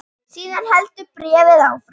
Síðan heldur bréfið áfram